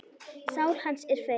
Sál hans er feig.